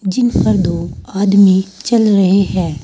जिन पर दो आदमी चल रहें है।